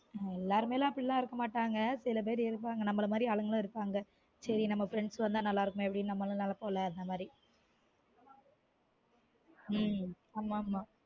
எல்லாருமே அப்டிலான் இருக்க மாட்டாங்க சில பேர் இருப்பாங்க நம்மல மாதிரி ஆளுங்கலும் இருப்பாங்க நம்ம friends வந்தா நல்லா இருக்குமே அப்டினு நம்ம நெனைப்பொம் ல அந்த மாதிரி உம் ஆமா ஆமா